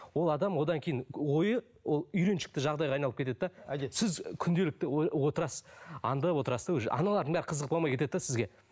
ол адам одан кейін ойы ол үйреншікті жағдайға айналып кетеді де сіз күнделікті отырасыз аңдып отырасыз да уже аналардың бәрі қызық болмай кетеді де сізге